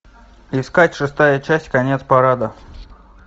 искать шестая часть конец парада